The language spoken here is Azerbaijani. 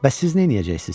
Bəs siz neyləyəcəksiz?